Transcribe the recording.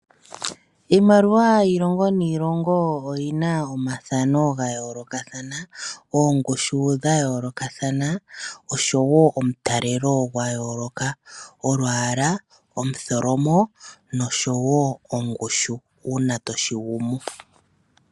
Iimaliwa yilongo niilongo oyina oyina omathano ga yoolokathana, oongushu dha yoolokathana nomutalelo gwa yooloka olwala, omutholomo nongushu uuna toshi gumu.